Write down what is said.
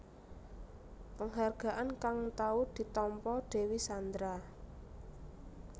Penghargaan kang tau ditampa Dewi Sandra